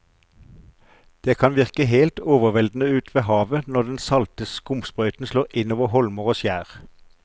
Det kan virke helt overveldende ute ved havet når den salte skumsprøyten slår innover holmer og skjær.